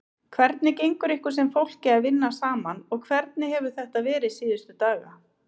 Hvernig gengur ykkur sem fólki að vinna saman og hvernig hefur þetta verið síðustu daga?